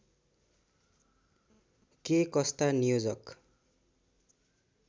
के कस्ता नियोजक